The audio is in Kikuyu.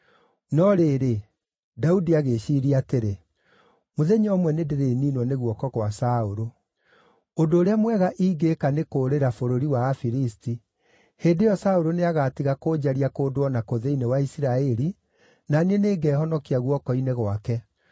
No rĩrĩ, Daudi agĩĩciiria atĩrĩ, “Mũthenya ũmwe nĩndĩrĩniinwo nĩ guoko gwa Saũlũ. Ũndũ ũrĩa mwega ingĩĩka nĩ kũũrĩra bũrũri wa Afilisti. Hĩndĩ ĩyo Saũlũ nĩagatiga kũnjaria kũndũ o na kũ thĩinĩ wa Isiraeli, na niĩ nĩngehonokia guoko-inĩ gwake.”